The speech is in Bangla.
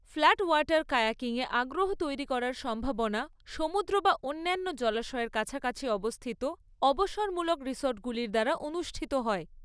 ফ্ল্যাট ওয়াটার কায়াকিংয়ে আগ্রহ তৈরি করার সম্ভাবনা সমুদ্র বা অন্যান্য জলাশয়ের কাছাকাছি অবস্থিত অবসরমূলক রিসর্টগুলির দ্বারা অনুষ্ঠিত হয়।